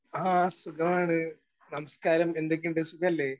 Speaker 1 ആ സുഖമാണ്. നമസ്കാരം, എന്തൊക്കെ ഉണ്ട് സുഖല്ലേ?